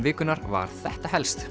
vikunnar var þetta helst